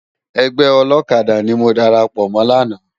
Ègbè òlòkàdá ni mó dàrápò mò làná